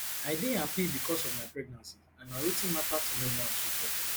i dey happy becos of my pregnancy and na wetin matter to me now she tok